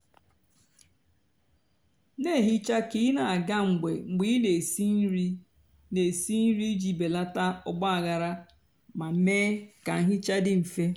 nà-èhicha kà ị nà-àga mgbe ị nà-èsi nà-èsi nri íjì belata ọgbághara mà mée kà nhicha dị mfè.